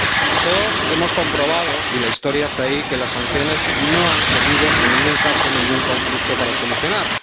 Nosotros hemos comprobado —y la historia está ahí— que las sanciones no han servido en ningún caso en ningún conflicto para solucionar.